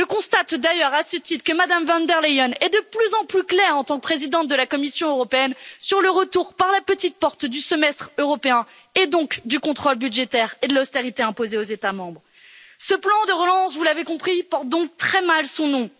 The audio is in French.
Je constate d'ailleurs à ce titre que Madame von der Leyen est de plus en plus claire, en tant que présidente de la Commission européenne, sur le retour par la petite porte du Semestre européen et donc du contrôle budgétaire et de l'austérité imposée aux États membres. Ce plan de relance, vous l'avez compris, porte donc très mal son nom.